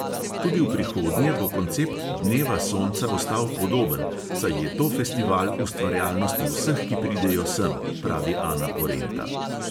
"Tudi v prihodnje bo koncept dneva sonca ostal podoben, saj je to festival ustvarjalnosti vseh, ki pridejo sem," pravi ana porenta.